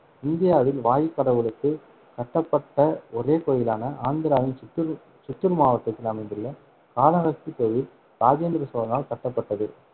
இந்தியாவில் வாயு கடவுளுக்கு கட்டப்பட்ட ஒரே கோயிலான, ஆந்திராவின் சித்தூர் சித்தூர் மாவட்டத்தில் அமைந்துள்ள காளகஸ்தி கோயில் இராஜேந்திர சோழனால் கட்டப்பட்டது.